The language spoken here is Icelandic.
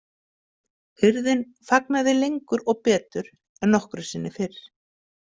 Hirðin fagnaði lengur og betur en nokkru sinni fyrr.